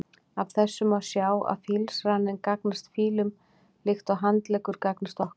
Af þessu má sjá að fílsraninn gagnast fílum líkt og handleggur gagnast okkur.